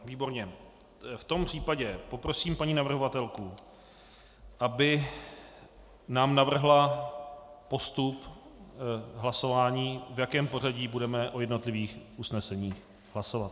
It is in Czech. V tom případě poprosím paní navrhovatelku, aby nám navrhla postup hlasování, v jakém pořadí budeme o jednotlivých usneseních hlasovat.